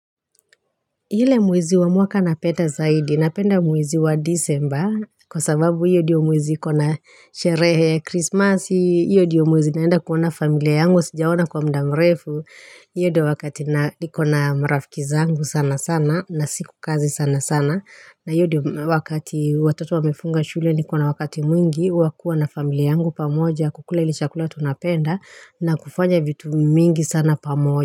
Ile mwezi wa mwaka napenda zaidi, napenda mwezi wa December, kwasababu hiyo ndiyo mwezi iko na sherehe Christmas, hiyo ndiyo mwezi naenda kuona familia yangu, sijaona kwa muda mrefu, hiyo ndiyo wakati na niko na marafiki zangu sanasana, na siko kazi sana sana, na hiyo ndiyo wakati watoto wamefunga shule niko na wakati mwingi wa kuwa na familia yangu pamoja, kukula ile chakula tunapenda, na kufanya vitu mingi sana pamoja.